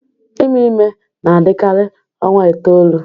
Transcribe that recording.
Ime ime na-adịkarị ọnwa itoolu